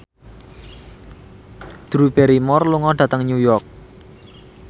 Drew Barrymore lunga dhateng New York